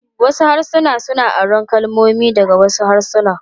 Wasu harsuna suna aron kalmomi daga wasu harsuna.